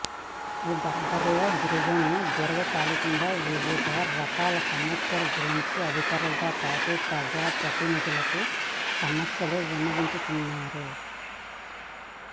ఈ దర్బార్లో గిరిజనుల దీర్ఘకాలికంగా వివిధ రకాల సమస్యల గురించి అధికారులతోపాటు ప్రజాప్రతినిధులకు సమస్యలు విన్నవించనున్నారు